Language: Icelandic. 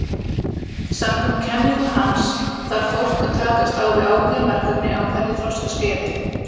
Samkvæmt kenningu hans þarf fólk að takast á við ákveðin verkefni á hverju þroskaskeiði.